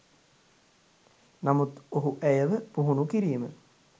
නමුත් ඔහු ඇයව පුහුණුකිරීම